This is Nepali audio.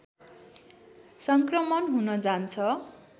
सङ्क्रमण हुन जान्छ